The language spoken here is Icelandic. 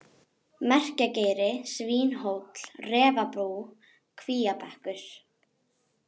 Merkjageiri, Svínhóll, Refabú, Kvíabekkur